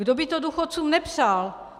Kdo by to důchodcům nepřál?